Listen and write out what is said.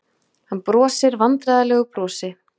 Hann brosir vandræðalegu brosi.